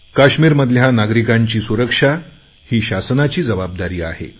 काश्मीरमधल्या नागरिकांची सुरक्षा ही शासनाची जबाबदारी आहे